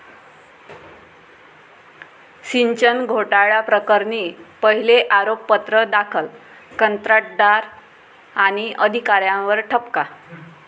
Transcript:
सिंचन घोटाळ्याप्रकरणी पहिले आरोपपत्र दाखल, कंत्राटदार आणि अधिकाऱ्यांवर ठपका